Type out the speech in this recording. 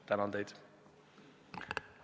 Tänan teid!